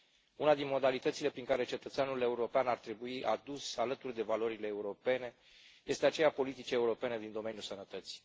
Una din modalitățile prin care cetățeanul european ar trebui adus alături de valorile europene este aceea a politicii europene din domeniul sănătății.